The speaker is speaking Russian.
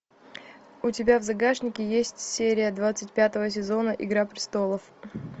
у тебя в загашнике есть серия двадцать пятого сезона игра престолов